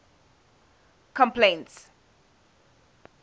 complaints